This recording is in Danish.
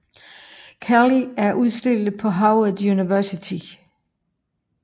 Kelly er udstillet på Howard University